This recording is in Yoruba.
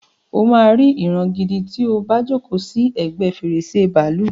O máa ri ìran gidi ti o bá jókòó sì ẹgbẹ́ fèrèsé bàálù.